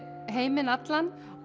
heiminn allan